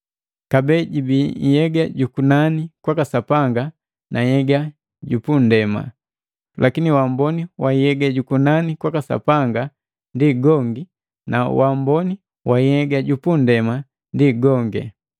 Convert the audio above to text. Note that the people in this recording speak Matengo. Kabee jibii nhyega jukunani kwaka Sanga na nhyega jupundema, lakini waamboni wa nhyega jukunani kwaka Sapanga ndi gongi na waamboni wa nhyega jupundema ndi gongi.